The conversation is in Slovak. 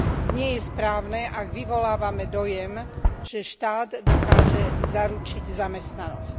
Nie je správne, ak vyvolávame dojem, že štát dokáže zaručiť zamestnanosť.